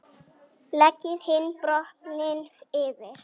Leggið hinn botninn yfir.